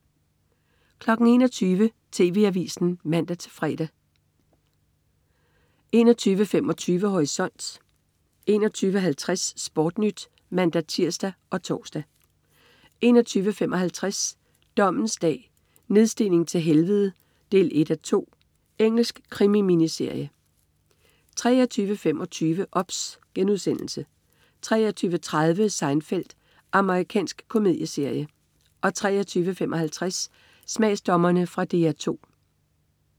21.00 TV Avisen (man-fre) 21.25 Horisont 21.50 Sportnyt (man-tirs og tors) 21.55 Dommens dag: Nedstigning til helvede 1:2. Engelsk krimi-miniserie 23.25 OBS* 23.30 Seinfeld. Amerikansk komedieserie 23.55 Smagsdommerne. Fra DR 2